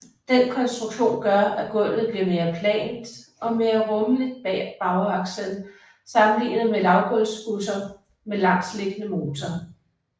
Den konstruktion gør at gulvet bliver mere plant og mere rummeligt bag bagakslen sammenlignet med lavgulvsbusser med langsliggende motor